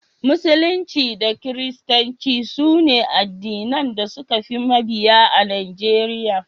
Musulunci da Kiristanci su ne addinan da suka fi mabiya a Najeriya.